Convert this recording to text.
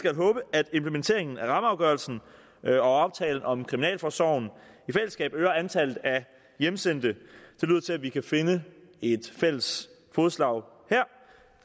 at implementeringen af rammeafgørelsen og aftalen om kriminalforsorgen i fællesskab øger antallet af hjemsendte det lyder til at vi kan finde et fælles fodslag her